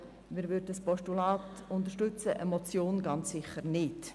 Wir würden somit ein Postulat unterstützen, aber eine Motion ganz sicher nicht.